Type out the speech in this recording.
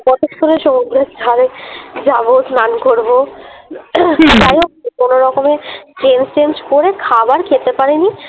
কতক্ষণে সমুদ্রের ধারে যাব স্নান করবো। যাই হোক কোনো রকমে Change টেঞ্জ করে খাবার খেতে পারিনি